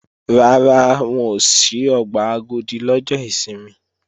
Rárá, wọn ò ṣí ọgbà Agodi lọ́jọ́ ìsinmi